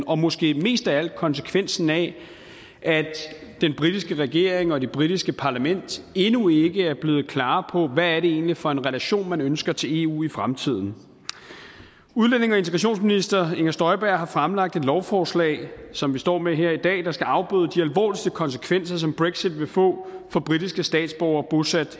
og måske mest af alt konsekvensen af at den britiske regering og det britiske parlament endnu ikke er blevet klare på hvad det egentlig er for en relation man ønsker til eu i fremtiden udlændinge og integrationsminister inger støjberg har fremlagt et lovforslag som vi står med her i dag der skal afbøde de alvorligste konsekvenser som brexit vil få for britiske statsborgere bosat